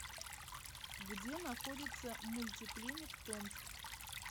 где находится мульти клиник томск